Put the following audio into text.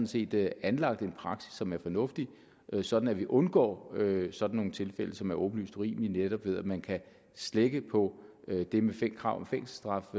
set er anlagt en praksis som er fornuftig så vi undgår sådan nogle tilfælde som er åbenlyst urimelige altså netop ved at man kan slække på det med krav om fængselsstraf